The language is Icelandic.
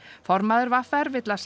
formaður v r vill að